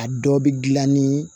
A dɔ bɛ gilan ni